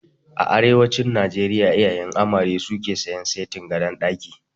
A arewacin Najeriya iyayen amare suke sayan setin gadon ɗaki